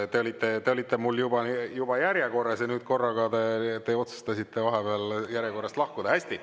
Te olite mul juba järjekorras ja nüüd korraga otsustasite vahepeal järjekorrast lahkuda.